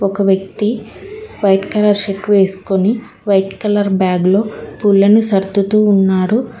ఒక వ్యక్తి white colour shirt వేసుకొని వైట్ కలర్ బ్యాగ్ లో పుల్లని సర్దుతూ ఉన్నారు.